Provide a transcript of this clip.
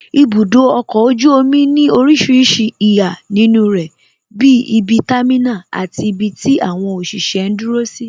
Ibudo ọkọ̀ ojú omi ní orísìírísìí ìhà nínú rẹ bí ibi támínà, àti ibi tí àwọn òṣìṣẹ́ ń dúró sí